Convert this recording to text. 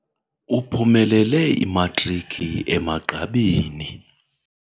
Uphumelele imatriki emagqabini.